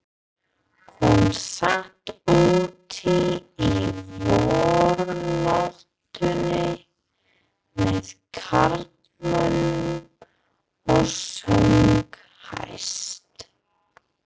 Hún sat úti í vornóttinni með karlmönnunum og söng hæst.